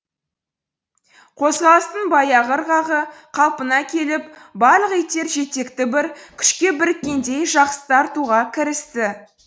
қозғалыстың баяғы ырғағы қалпына келіп барлық иттер жетекті бір күшке біріккендей жақсы тартуға кірісті